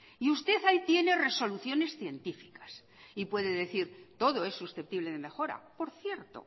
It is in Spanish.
y usted ahí tiene resoluciones científicas y puede decir todo es susceptible de mejora por cierto